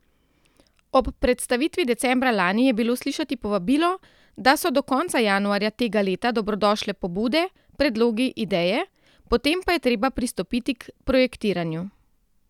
Ob predstavitvi decembra lani je bilo slišati povabilo, da so do konca januarja tega leta dobrodošle pobude, predlogi, ideje, potem pa je treba pristopiti k projektiranju.